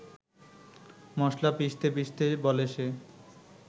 মশলা পিষতে পিষতে বলে সে